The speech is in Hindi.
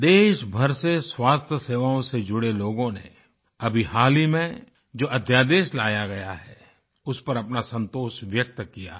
देशभर से स्वास्थ्य सेवाओं से जुड़े लोगों ने अभी हाल ही में जो अध्यादेश लाया गया है उस पर अपना संतोष व्यक्त किया है